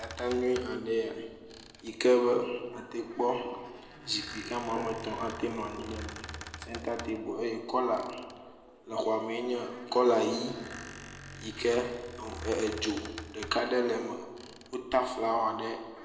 …aɖe ya, yike be ate kpɔ, zikpui kea me woame etɔ̃ ate anɔ anyi ɖe eme, senta tebel eye kɔla yi le xɔ me enye kɔla ʋɛ̃, yike edzo ɖeka ɖe le eme, wota flawa ɖe…